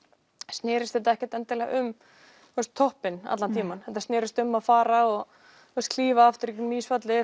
snerist þetta ekki um toppinn allan tímann heldur snerist þetta um að fara og klífa aftur í gegnum